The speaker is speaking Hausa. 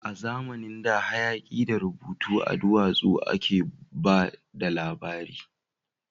A zamanin da, hayaki da rubutu a duwatsu a ke ba da labari